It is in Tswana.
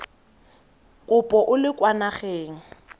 kopo o le kwa nageng